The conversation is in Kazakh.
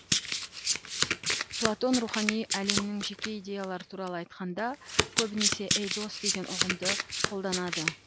платон рухани әлемнің жеке идеялары туралы айтқанда көбінесе эйдос деген ұғымды қолданады